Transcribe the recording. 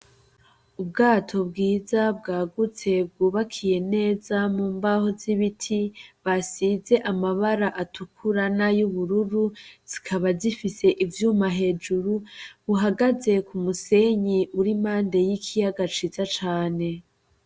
Ubwato bwiza bwagutse bwubakiye neza mu mbaho z'ibiti basize amabara atukurana y'ubururu zikaba zifise ivyuma hejuru buhagaze ku musenyi urimande y'ikiyagaciza cane.